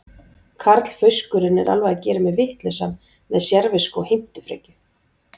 Karlfauskurinn er alveg að gera mig vitlausan með sérvisku og heimtufrekju.